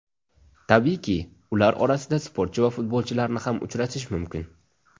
Tabiiyki, ular orasida sportchi va futbolchilarni ham uchratish mumkin.